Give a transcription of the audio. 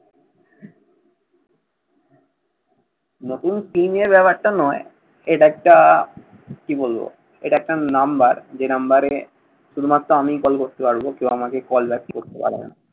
নতুন SIM নিয়ে ব্যাপারটা নয়। এটা একটা কি বলবো? এটা একটা number যে number এ শুধুমাত্র আমিই কল করতে পারবো। কেউ আমাকে কল back করতে পারবে না।